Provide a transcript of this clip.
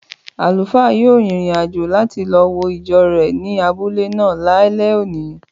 Àlùfáà yóò rin ìrìn-àjò láti lo wo ìjọ rẹ̀ ní abúlé náà lálẹ́ òní.